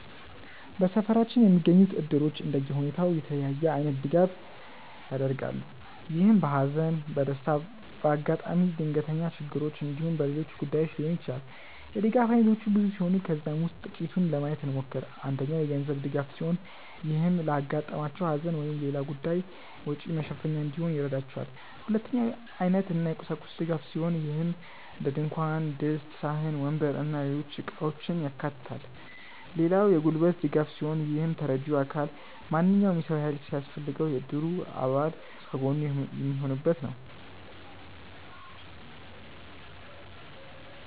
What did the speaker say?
በሰፈራችን የሚገኙት እድሮች እንደየሁኔታው የተለያየ አይነት ድጋፍ ያደርጋሉ። ይህም በሃዘን፣ በደስታ፣ በአጋጣሚ ድንገተኛ ችግሮች እንዲሁም በሌሎች ጉዳዮች ሊሆን ይችላል። የድጋፍ አይነቶቹ ብዙ ሲሆኑ ከነዛም ውስጥ ጥቂቱን ለማየት እንሞክር። አንደኛው የገንዘብ ድጋፍ ሲሆን ይህም ለአጋጠማቸው ሃዘን ወይም ሌላ ጉዳይ ወጪ መሸፈኛ እንዲሆን ይረዳቸዋል። ሁለተኛው የአይነት እና የቁሳቁስ ድጋፍ ሲሆን ይህም እንደድንኳን ድስት፣ ሳህን፣ ወንበር እና ሌሎች እቃውችን ያካታል። ሌላው የጉልበት ድጋፍ ሲሆን ይህም ተረጂው አካል ማንኛውም የሰው ሃይል ሲያስፈልገው የእድሩ አባል ከጎኑ የሚሆኑበት ነው።